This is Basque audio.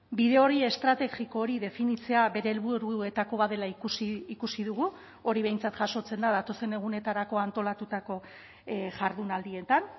bide hori estrategiko hori definitzea bere helburuetako bat dela ikusi ikusi dugu hori behintzat jasotzen da datozen egunetarako antolatutako jardunaldietan